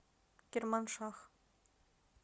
керманшах